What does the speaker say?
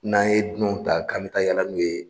N'an ye dunanw ta k'an bɛ taa yala n'u ye'